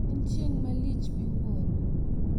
En chieng` malich miwuro.